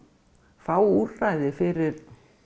fá úrræði fyrir